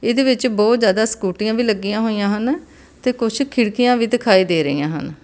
ਇਹਦੇ ਵਿੱਚ ਬਹੁਤ ਜਿਆਦਾ ਸਕੂਟੀਆਂ ਵੀ ਲੱਗੀਆਂ ਹੋਈਆਂ ਹਨ ਤੇ ਕੁਛ ਖਿੜਕੀਆਂ ਵੀ ਦਿਖਾਈ ਦੇ ਰਹੀਆਂ ਹਨ।